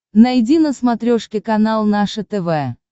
найди на смотрешке канал наше тв